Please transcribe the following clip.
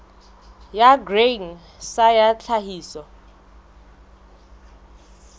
ya grain sa ya tlhahiso